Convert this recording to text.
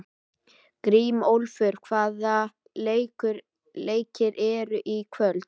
Grímólfur, hvaða leikir eru í kvöld?